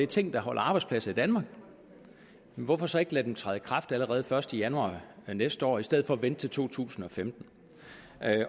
ting der holder arbejdspladser i danmark hvorfor så ikke lade dem træde i kraft allerede første januar næste år i stedet for at vente til 2015